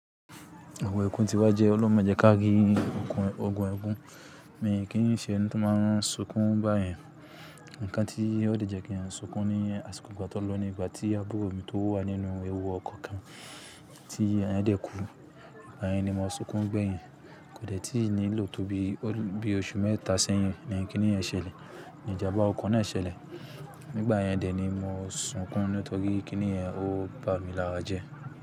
Ogun ẹkún ti wá jẹ́ olorun majẹ́ ká gẹ́gẹ́ ogun ẹkún. Mi kí n ṣe ẹni to máa ń sunkún báyẹn. Ǹkan tí ó de jẹ́ kí n sunkún ní àsìkò ìgbà tí ó lọ ní ìgbà tí àbúrò mi tó wà nínú ewu ọkọ̀ kan tí à ń dẹ̀ kú. Ìgbà yẹn ni mo sunkún gbẹ́yìn. Kò dẹ̀ tí ì nílò tó bí oṣù mẹ́ta sẹ́yìn ni kíní ẹ̀ ṣẹlẹ̀, ní ìjàmbá ọkọ̀ náà ṣẹlẹ̀. Nígbà yẹn dè ni mo sunkún nítorí kíní ẹ̀ ò bá mi lára jẹ́.